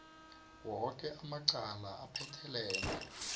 woke amacala aphethelene